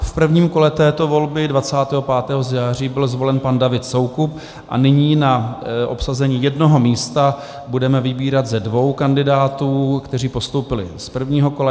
V prvním kole této volby 25. září byl zvolen pan David Soukup a nyní na obsazení jednoho místa budeme vybírat ze dvou kandidátů, kteří postoupili z prvního kola.